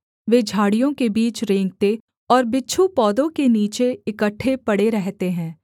वे झाड़ियों के बीच रेंकते और बिच्छू पौधों के नीचे इकट्ठे पड़े रहते हैं